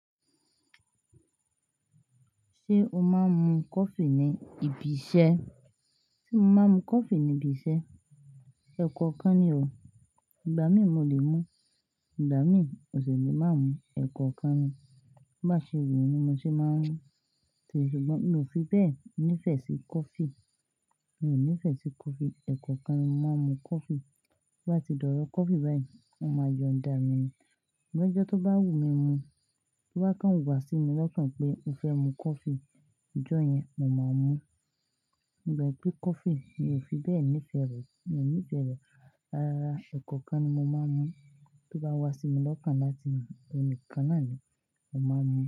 Ṣé o máa ń mu coffee ní ibi iṣẹ́? Sé mo máa ń mu coffee ní ibi iṣẹ́? Ẹ̀kọ̀kan ni o. Ìgbà mí mo lè mu, ìgbà mi ò ṣẹ̀ lè má mú, ẹ̀kọ̀kan ni. Bá ṣe wù mí mo ṣe máa ń mú. Ṣùgbọ́n mi ò fi bẹ́ẹ̀ nífẹ̀ẹ́ sí coffee. Mi ò nífẹ̀ẹ́ sí coffee, ẹ̀koọ̀kan ni mo máa ń mu coffee. To ba ti dọ̀rọ̀ coffee báyìí, won máa yọńdà mi ni. Lojo tó bá wù mí mu, tó bá kan wà sí mi lọ́kàn pé mo fẹ́ mu coffee, ọjọ́ yẹn mo máa mú. But pé coffee mi ò fi bẹ́ẹ̀ nífẹ̀ẹ́ rẹ̀, mi ò nífẹ̀ẹ́ rẹ̀ raràrá, ẹ̀koọ̀kan ni mo máa ń mú. Tó bá wá sí mi lọ́kàn láti, iyen nikan nàá ni, mo máa ń mú.